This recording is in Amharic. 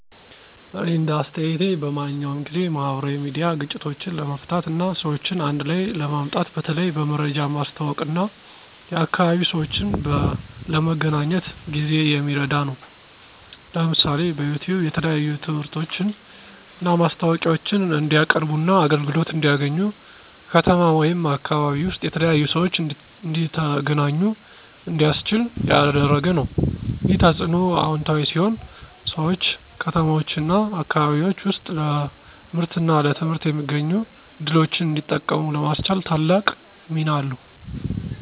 እኔ እንደ አስተያየቴ በማንኛውም ጊዜ፣ ማህበራዊ ሚዲያ ግጭቶችን ለመፍታት እና ሰዎችን አንድ ላይ ለማምጣት በተለይ በመረጃ ማስተዋወቅ እና የአካባቢ ሰዎችን ለመገናኘት ጊዜ የሚረዳ ነው። ለምሳሌ፣ በዩቲዩብ የተለያዩ ትምህርቶችን እና ማስታወቂያዎችን እንዲቀያርቡና አገልግሎት እንዲያገኙ፣ ከተማ ወይም አካባቢ ውስጥ የተለያዩ ሰዎች እንዲተገናኙ እንዲያስችል ያደረገ ነው። ይህ ተጽዕኖ አዎንታዊ ሲሆን ሰዎች ከተማዎችና አካባቢዎች ውስጥ ለምርትና ለትምህርት የሚገኙ ዕድሎችን እንዲጠቀሙ ለማስቻል ታላቅ ሚና አለው።